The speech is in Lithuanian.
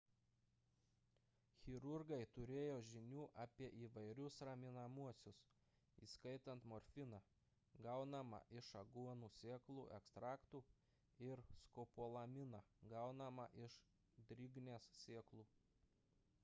chirurgai turėjo žinių apie įvairius raminamuosius įskaitant morfiną gaunamą iš aguonų sėklų ekstraktų ir skopolaminą gaunamą iš drignės sėklų